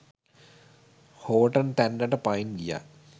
Horton තැන්නට පයින් ගියා.